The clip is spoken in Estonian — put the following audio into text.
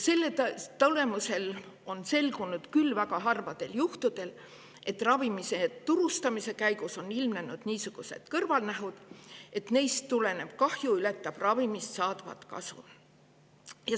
Selle tulemusel on selgunud, küll väga harvadel juhtudel, et ravimi on ilmnenud niisugused kõrvalnähud, et neist tulenev kahju ületab ravimist saadavat kasu.